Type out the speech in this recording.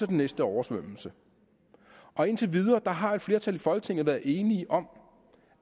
den næste oversvømmelse og indtil videre har et flertal i folketinget været enige om